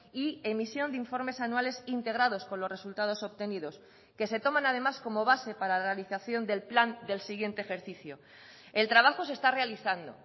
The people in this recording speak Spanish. y emisión de informes anuales integrados con los resultados obtenidos que se toman además como base para la realización del plan del siguiente ejercicio el trabajo se está realizando